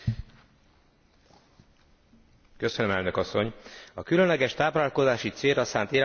A különleges táplálkozási célra szánt élelmiszerek különböznek a normál fogyasztásra szánt élelmiszerektől.